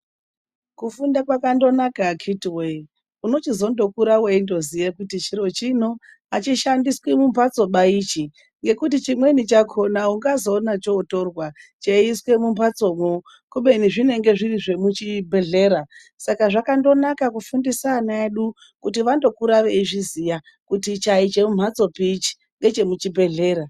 Kufunda kwakandonaka akiti woye, unochizondokura veitoziya kuti chiro chino achishandiswi mumbatsoba ichi, ngekuti chimweni chakona ungazoona chotorwa, chaiswa mumbatso kubeni zvinenge zviri chemubhlehlera. Saka zvakangonaka kufundisa ana edu kuti vendokura vechiziva kuti ichi hachisi chemumbatsopi ngechemubhehlera.